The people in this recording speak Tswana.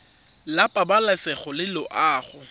la pabalesego le loago e